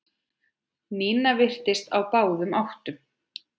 Nína virtist á báðum áttum.